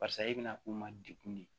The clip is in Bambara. Barisa e bɛna k'u ma degun de ye